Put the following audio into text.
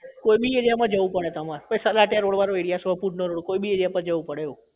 કોઈ બી area માં જવું પડે તમારે કોઈ બી area પર જવું પડે એવું